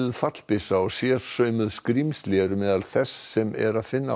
fallbyssa og sérsaumuð skrímsli eru meðal þess sem er að finna á